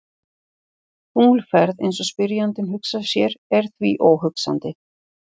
Tunglferð eins og spyrjandi hugsar sér er því óhugsandi.